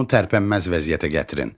Onu tərpənməz vəziyyətə gətirin.